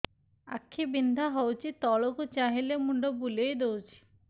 ଆଖି ବିନ୍ଧା ହଉଚି ତଳକୁ ଚାହିଁଲେ ମୁଣ୍ଡ ବୁଲେଇ ଦଉଛି